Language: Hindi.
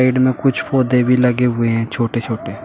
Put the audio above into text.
इनमें कुछ पौधे भी लगे हुए है छोटे छोटे।